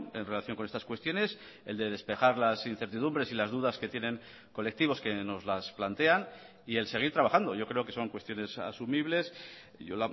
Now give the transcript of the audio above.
en relación con estas cuestiones el de despejar las incertidumbres y las dudas que tienen colectivos que nos las plantean y el seguir trabajando yo creo que son cuestiones asumibles yo